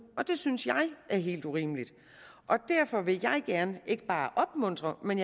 det synes jeg er helt urimeligt og derfor vil jeg gerne ikke bare opmuntre men